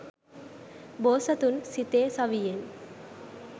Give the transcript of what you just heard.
බෝසතුන් සිතේ සවියෙන්